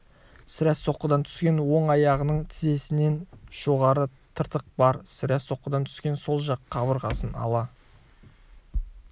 сірә соққыдан түскен он аяғының тізесінен жоғары тыртық бар сірә соққыдан түскен сол жақ қабырғасын ала